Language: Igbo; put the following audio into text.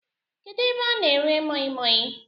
Kedụ ebe a na-ere moimoi?